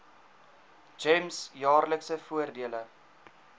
gems jaarlikse voordele